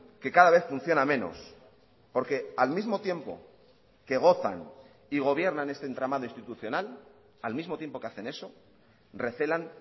que cada vez funciona menos porque al mismo tiempo que gozan y gobiernan este entramado institucional al mismo tiempo que hacen eso recelan